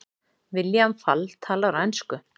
William Fall talar á ensku.